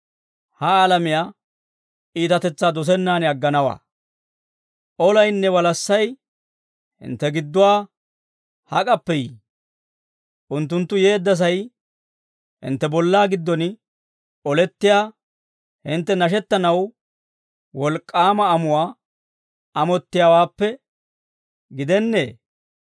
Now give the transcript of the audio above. Olaynne walassay hintte gidduwaa hak'appe yii? Unttunttu yeeddasay hintte bollaa giddon olettiyaa hintte nashettanaw wolk'k'aama amuwaa amottiyaawaappe gidennee?